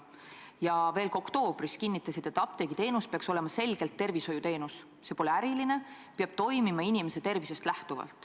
Ka oktoobris kinnitasid, et apteegiteenus peaks olema selgelt tervishoiuteenus, see pole äriline tegevus, vaid peab lähtuma inimese tervisest.